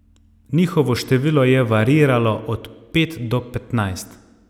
Njihovo število je variiralo od pet do petnajst.